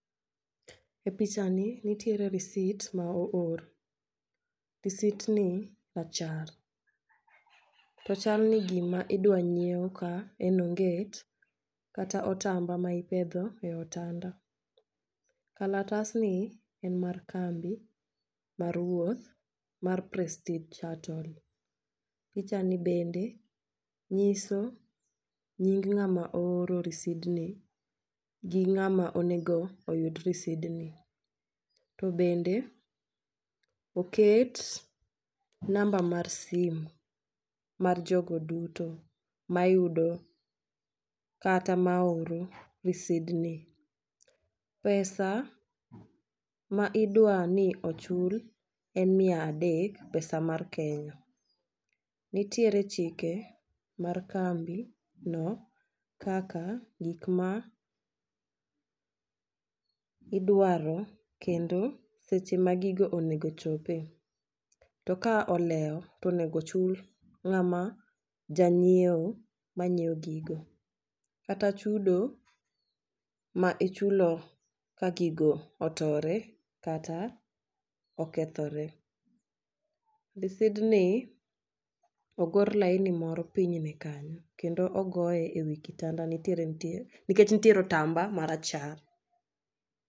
E picha ni nitiere risit ma oor, risit ni rachar .To chal ni gima idwa nyiew ka en onget kata otamba ma ipedho e otanda. Kalatas ni en mar kambi mar wuoth mar prestige shuttle. Picha ni bende nyiso nying ng'ama ooro risidni gi ng'ama onego oyud risidni. To bende oket namba mar simu mar jogo duto ma yudo kata ma oro risidni . Pesa ma idwani ochul en mia adek pesa mar kenya . Nitiere chike mar kambi no kaka gik ma idwaro kendo seche ma gigo onego chope. To ka olewo tonego ochul ng'ama jang'iewo manyiewo gigo kata chudo ma ichulo ka gigo otore kata okethore. Risidni ogor laini moro pinyne kanyo kendo ogoye e wi kitanda ntiere nitie nikech nitiere otamba marachar.